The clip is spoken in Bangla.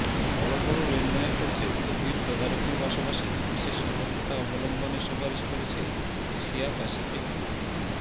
বড় বড় লেনদেনের ক্ষেত্রে গভীর তদারকির পাশাপাশি বিশেষ সতর্কতা অবলম্বনের সুপারিশ করেছে এশিয়া প্যাসিফিক গ্রুপ